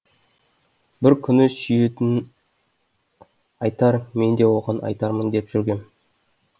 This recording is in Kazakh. бір күні сүйетінін айтар мен де оған айтармын деп жүргем